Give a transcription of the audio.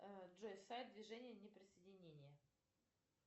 джой сайт движение неприсоединения